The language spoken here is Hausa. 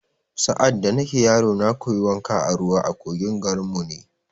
Sa’ad da nake yaro, na koyi wanka a ruwa a kogin garin mu ne